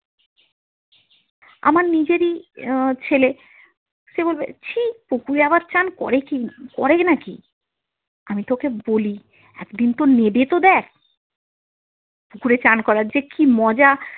আমার নিজেরই ছেলে, সে বলবে ছিঃ পুকুরে আবার চান করে কি করে নাকি? আমি তো ওকে বলি একদিন তো নেমে তো দেখ, পুকুরে চান করার যে কি মজা।